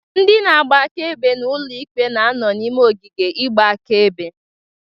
Ndị na-agba akaebe n'ụlọ ikpe na-ano n'ime ogige igba akaebe.